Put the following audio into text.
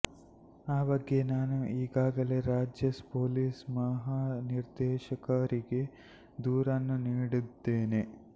ಆ ಬಗ್ಗೆ ನಾನು ಈಗಾಗಲೇ ರಾಜ್ಯ ಪೊಲೀಸ್ ಮಹಾ ನಿರ್ದೇಶಕರಿಗೆ ದೂರನ್ನು ನೀಡಿದ್ದೇನೆ